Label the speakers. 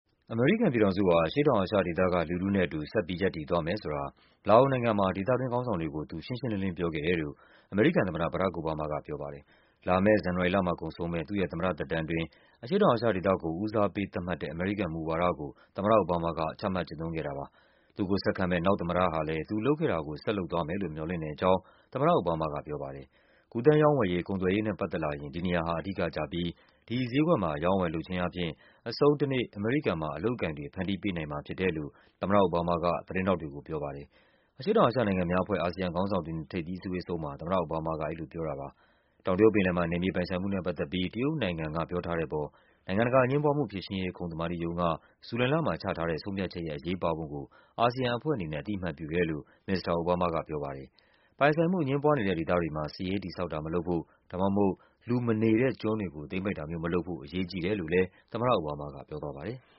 Speaker 1: အမေရိကန်ပြည်ထောင်စုဟာ အရှေ့တောင်အာရှဒေသကလူထုနဲ့အတူ ဆက်ပြီး ရပ်တည်သွားမယ်ဆိုတာ လာအိုနိုင်ငံမှာ ဒေသ တွင်းခေါင်းဆောင်တွေကို သူ ရှင်းရှင်းလင်းလင်း ပြောခဲ့တယ်လို့ အမေရိကန်သမ္မတ ဘရာ့ခ် အိုဘားမားက ပြောပါတယ်။ လာမယ့် ဇန်နဝါရီလမှာကုန်ဆုံးမယ့် သူ့ရဲ့သမ္မတသက်တမ်းအတွင်း အရှေ့တောင်အာရှဒေသကို ဦးစားပေး သတ်မှတ်တဲ့ အမေရိကန်မူဝါဒကို သမ္မတအိုဘားမားက ချမှတ်ကျင့်သုံးခဲ့တာဖြစ်ပါတယ်။ သူ့ကိုဆက်ခံမယ့် နောက်သမ္မတဟာလည်း သူ လုပ်ခဲ့တာကို ဆက်လုပ်သွားမယ်လို့ မျှော်လင့်တဲ့အကြောင်းလည်း သမ္မတအိုဘားမားက ပြောပါတယ်။ ကူးသန်းရောင်းဝယ်ရေး၊ ကုန်သွယ်ရေးနဲ့ ပတ်သက်လာရင် ဒီနေရာဟာ အဓိကကျပြီး ဒီဈေးကွက်မှာ အရောင်းအဝယ် လုပ်ခြင်း အားဖြင့် အဆုံးတနေ့ အမေရိကန်မှာ အလုပ်အကိုင်တွေ ဖန်တီးပေးနိုင်မှာဖြစ်တယ်လို့ သမ္မတအိုဘားမားက သတင်းထောက် တွေကို ပြောပါတယ်။ အရှေ့တောင်အာရှနိုင်ငံများအဖွဲ့ ASEAN ခေါင်းဆောင်တွေနဲ့ ထိပ်သီးအစည်းအဝေးအဆုံးမှာ သမ္မတ အိုဘားမားက အဲဒီလိုပြောတာပါ။ တောင်တရုတ်ပင်လယ်မှာ နယ်မြေပိုင်ဆိုင်မှုနဲ့ပတ်သက်ပြီး တရုတ်နိုင်ငံက ပြောထားတဲ့အပေါ် နိုင်ငံတကာ အငြင်းပွားမှု ဖြေရှင်း ရေး ခုံသမာဓိရုံးက ဇူလိုင်လမှာချထားတဲ့ ဆုံးဖြတ်ချက်ရဲ့ အရေးပါပုံကို ASEAN အဖွဲ့အနေနဲ့ အသိအမှတ်ပြုတယ်လို့ ုမစ္စတာ အိုဘားမားက ပြောပါတယ်။ ပိုင်ဆိုင်မှုအငြင်းပွားနေတဲ့ ဒေသတွေမှာ စစ်ရေးတည်ဆောက်တာတွေ မလုပ်ဖို့ ဒါမှမဟုတ် လူမနေ တဲ့ကျွန်းတွေကို သိမ်းပိုက်တာမျိုးမလုပ်ဖို့ အရေးကြီးတယ်လို့လည်း သမ္မတအိုဘားမားက ပြောသွားပါတယ်။